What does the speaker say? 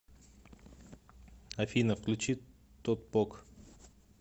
афина включи тотпок